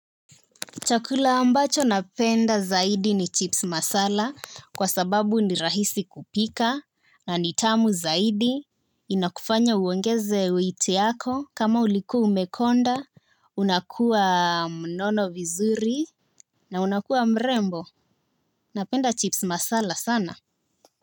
Chakula ambacho napenda zaidi ni chips masala kwa sababu ni rahisi kupika na ni tamu zaidi. Inakufanya uongeze weight yako kama uliku umekonda, unakua mnono vizuri na unakua mrembo. Napenda chips masala sana.